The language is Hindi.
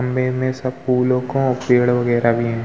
मै सब फूलो को पेड़ बगेरा भी हैं।